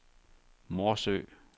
Morsø